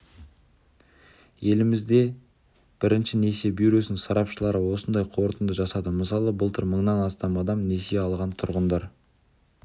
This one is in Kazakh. еліміздегі бірінші несие бюросының сарапшылары осындай қорытынды жасады мысалы былтыр мыңнан астам адам несие алған тұрғындар